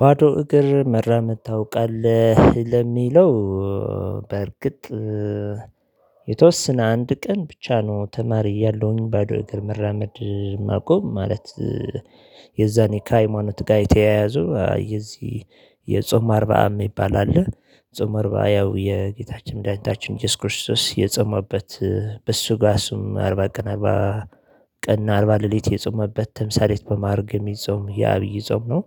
ባዶ እግር መራመድ ታውቃለህ ለሚለው? በእርግጥ የተወሰነ አንድ ቀን ብቻ ነው። ተማሪ እያለሁኝ ባዶ እግር መራመድ ማቆም ማለት። የዛኔ ከሃይማኖት ጋር የተያያዙ የዚህ የጾም አርባአም ይባላል ጾም አርባ ያው የጌታችን መዳኒታችን ኢየሱስ ክርስቶስ የጾመበት በሱ ጋር እሱም አርባ ቀና ቀና አርባ ሌሊት የጾመበት ተምሳሌት በማረግ የሚጾም ያብይ ጾም ነው።